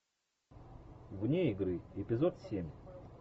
вне игры эпизод семь